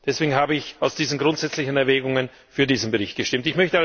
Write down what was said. Deswegen habe ich aus diesen grundsätzlichen Erwägungen für diesen Bericht gestimmt.